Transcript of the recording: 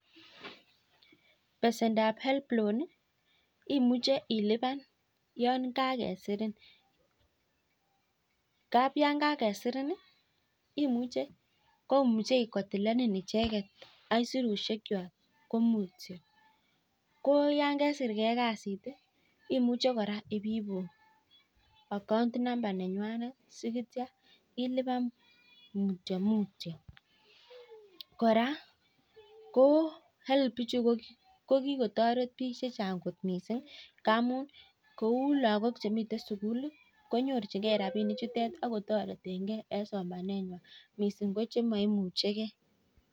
Besendap HELB Loan imuche ilipan yon kakesirin ngab yon kakesirin imuche kotilenin icheget aisurusiek kwak ko mutio ko yon kesir ge kasit imuche kora ibeibu account number nenywanet asi tyan ilipan mutyo mutyo kora ko HELB ichu ko ki kotoret bik Che Chang kot mising ngamun kou lagok chemiten sukul konyorchigei rabisiek chutet ak kotoretengei en somanenywan mising ko che maimuche ge